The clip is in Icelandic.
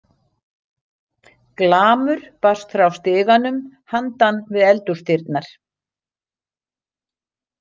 Glamur barst frá stiganum handan við eldhúsdyrnar.